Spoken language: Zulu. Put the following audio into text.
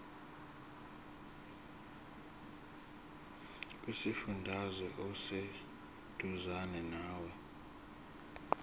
kusifundazwe oseduzane nawe